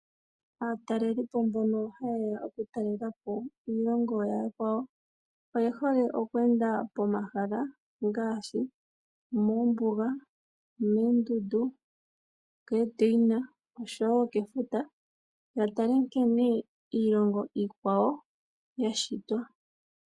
Aatalelipo mbono hayeya okutalela po iilongo yaakwawo oyehole okweenda pomahala ngaashi omoombuga, omoondundu, okoodeina oshowo kefuta yatale nkene iilongo iikwawo yashitwa.